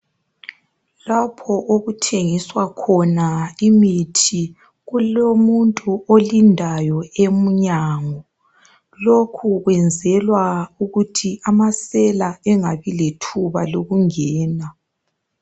Lapho okuthengiswa khona imithi kulomuntu olindayo emnyango. Lokho kwenzelwa ukuthi amasela engabi lethuba lokungena.